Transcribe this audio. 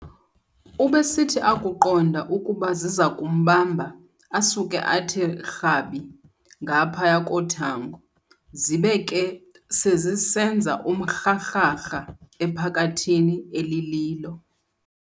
Ubesithi akuqonda ukuba zizakumbamba, asuke athi rhabi ngaphaya kothango, zibe ke sezisenza umrharharha ephakathini elililo.